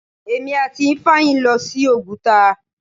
Èmi àti Ifeanyi ń lọ sí Oguta.